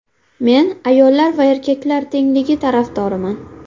Men ayollar va erkaklar tengligi tarafdoriman.